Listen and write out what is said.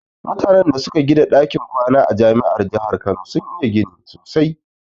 Mutanan da suka gida ɗakin kwana a jami'ar jahar kano sun iya gini sosai